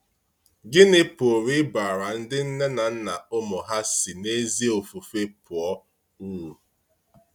Gịnị pụrụ ịbara ndị nne na nna ụmụ ha si n’ezi ofufe pụọ uru?